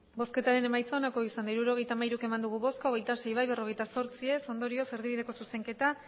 hirurogeita hamairu eman dugu bozka hogeita sei bai berrogeita zortzi ez ondorioz erdibideko zuzenketa